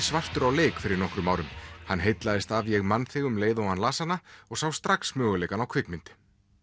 svartur á leik fyrir nokkrum árum hann heillaðist af ég man þig um leið og hann las hana og sá strax möguleikana á kvikmynd